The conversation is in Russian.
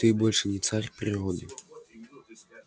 ты больше не царь природы